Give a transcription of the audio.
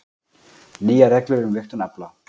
Nýjar reglur um vigtun afla